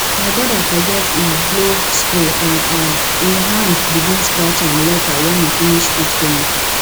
my brother forget e glove spray and um e hand begin scratch am later when he finish put chemical